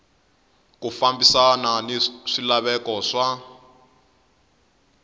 ku fambisana na swilaveko swa